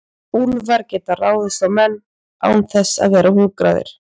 Úlfar geta ráðist á menn án þess að vera hungraðir.